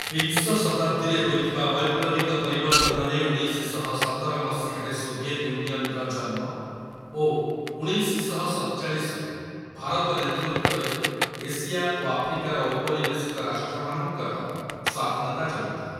ବିଂଶ ଶତାବ୍ଦୀରେ ହୋଇଥିବା ବୈପ୍ଳବିକ ପରିବର୍ତ୍ତନରେ ଉଣେଇଶଶହସତର ମସିହାରେ ସୋଭିଏତ୍ ୟୁନିଅନ୍‍ର ଜନ୍ମ ଓ ଉଣେଇଶଶହସତଚାଳିଶ ରୁ ଭାରତ ନେତୃତ୍ବରେ ଏସିଆ ଓ ଆଫ୍ରିକାର ଔପନିବେଶିକ ରାଷ୍ଟ୍ରମାନଙ୍କର ସ୍ଵାଧୀନତା ଜଡ଼ିତ।